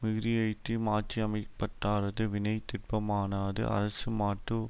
மிகுதியெய்தி மாட்சிஅமைப்பட்டா ரது வினை திட்பமானாது அரசன்மாட்டு